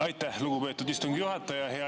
Aitäh, lugupeetud istungi juhataja!